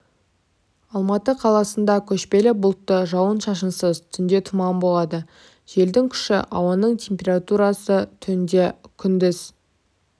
алматы қаласында көшпелі бұлтты жауын-шашынсыз түнде тұман болады желдің күші ауаның температурасы түнде күндіз